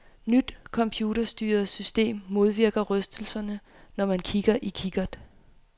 Nyt computerstyret system modvirker rystelserne, når man kigger i kikkert.